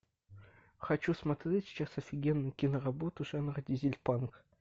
хочу смотреть сейчас офигенную киноработу жанра дизельпанк